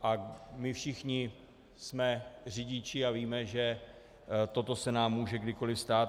A my všichni jsme řidiči a víme, že toto se nám může kdykoliv stát.